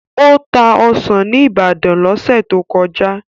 Ó ta ọsàn ní Ibadan lọ́sẹ̀ tó kọjá.